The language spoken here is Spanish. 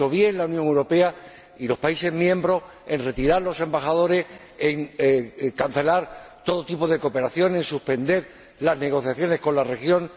Han hecho bien la Unión Europea y los países miembros en retirar a los embajadores, en cancelar todo tipo de cooperaciones, en suspender las negociaciones con la región.